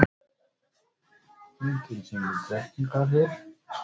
Myndin sýnir Drekkingarhyl.